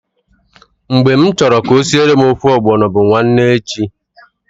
Mgbe m chọrọ ka o siele m ofe ọgbọnọ bu nwanne echi.